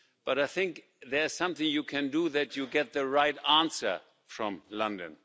But I think there's something you can do so that you get the right answer from London.